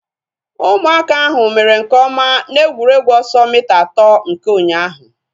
Ụmụaka ahu mere nke ọma na egwuregwu ọsọ mita atọ nke ụnyaahụ